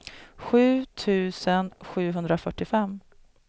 sju tusen sjuhundrafyrtiofem